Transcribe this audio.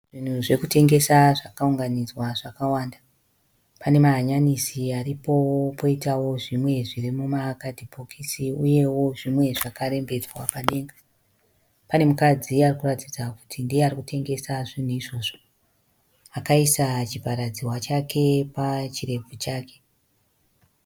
Zvinhu zvekutengesa zvakaunganidzwa zvakawanda. Pane mahanyanisi aripo poitawo zvimwe zviri mumakadhibhokisi uyewo zvimwe zvakarembedzwa padenga. Pane mukadzi arikuratidza kuti ndiye arikutengesa zvinhu izvozvo. Akaisa chivharadzihwa chake pachirebvu chake.